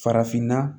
Farafinna